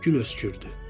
Gül öskürdü.